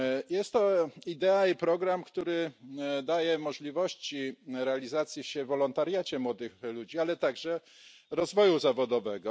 Jest to idea i program, który daje możliwości realizowania się w wolontariacie młodych ludzi, ale także rozwoju zawodowego.